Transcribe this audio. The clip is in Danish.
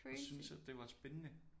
Og synes at det var spændende